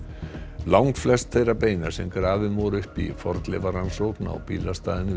langflest þeirra beina sem grafin voru upp í fornleifarannsókn á bílastæðinu við